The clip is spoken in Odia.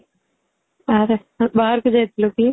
ଆରେ ବାହାରକୁ ଯାଇଥିଲୁ କି?